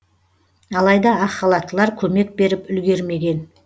алайда ақ халаттылар көмек беріп үлгермеген